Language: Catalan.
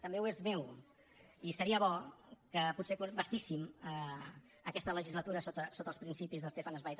també ho és meu i seria bo que potser bastíssim aquesta legislatura sobre els principis de stefan zweig